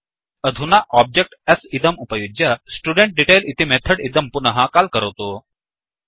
अधुना object s इदं उपयुज्य studentDetail इति मेथड् इदं पुनः काल् करोतु